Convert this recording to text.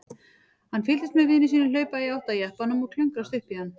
Hann fylgdist með vini sínum hlaupa í átt að jeppanum og klöngrast upp í hann.